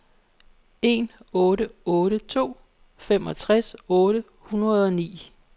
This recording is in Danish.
en otte otte to femogtres otte hundrede og ni